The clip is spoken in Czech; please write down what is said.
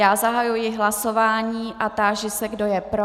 Já zahajuji hlasování a táži se, kdo je pro.